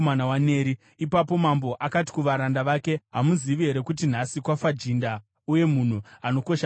Ipapo mambo akati kuvaranda vake, “Hamuzivi here kuti nhasi kwafa jinda uye munhu anokosha muIsraeri?